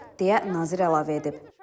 Deyə nazir əlavə edib.